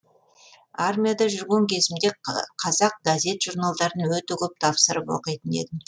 армияда жүрген кезімде қазақ газет журналдарын өте көп тапсырып оқитын едім